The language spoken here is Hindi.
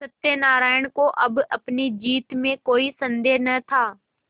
सत्यनाराण को अब अपनी जीत में कोई सन्देह न था